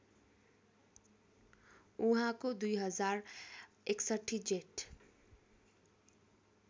उहाँको २०६१ जेठ